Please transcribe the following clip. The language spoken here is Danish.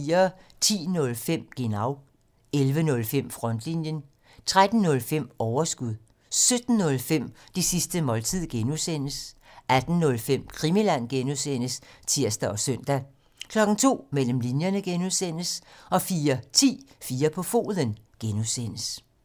10:05: Genau (tir) 11:05: Frontlinjen (tir) 13:05: Overskud (tir) 17:05: Det sidste måltid (G) (tir) 18:05: Krimiland (G) (tir og søn) 02:00: Mellem linjerne (G) 04:10: 4 på foden (G)